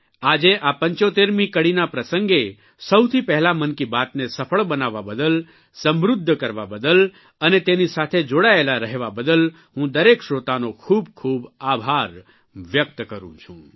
આજે આ 75મી કડીના પ્રસંગે સૌથી પહેલા મનકી બાતને સફળ બનાવવા બદલ સમૃદ્ધ કરવા બદલ અને તેની સાથે જોડાયેલા રહવા બદલ હું દરેક શ્રોતનો ખૂબ ખૂબ આભાર વ્યક્ત કરૂં છું